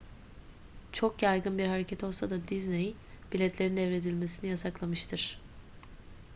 çok yaygın bir hareket olsa da disney biletlerin devredilmesini yasaklanmıştır